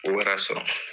O wɛrɛ sɔrɔ